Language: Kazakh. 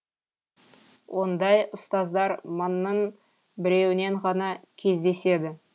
ондай ұстаздар мыңның біреуінен ғана кездеседі